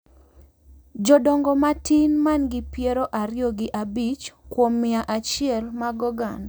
Jodongo ma tin, ma gin piero ariyo gi abich kuom mia achiel mag oganda